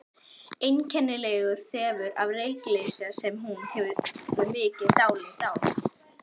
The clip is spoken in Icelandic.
Einkennilegur þefur af reykelsi sem hún hefur mikið dálæti á.